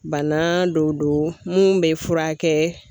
Bana dɔ do mun bɛ furakɛ.